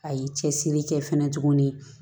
A ye cɛsiri kɛ fɛnɛ tuguni